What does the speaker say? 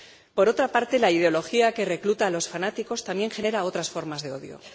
Por otra parte, la ideología que recluta a los fanáticos también genera otras formas de odio.